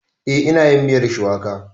Eh, ina yin miyar shuwaka